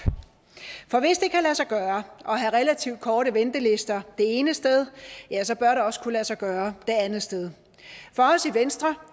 for hvis det kan lade sig gøre at have relativt korte ventelister det ene sted ja så bør det også kunne lade sig gøre det andet sted for os i venstre